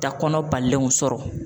Ta kɔnɔ balilenw sɔrɔ.